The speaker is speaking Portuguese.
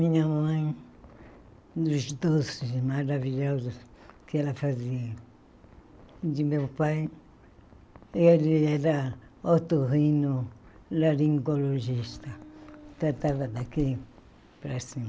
Minha mãe, dos doces maravilhosos que ela fazia, de meu pai, ele era otorrinolaringologista, tratava daqui para